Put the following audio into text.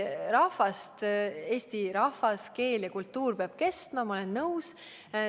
Eesti rahvas, keel ja kultuur peab kestma, ma olen nõus.